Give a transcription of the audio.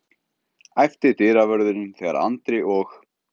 æpti dyravörðurinn þegar Andri og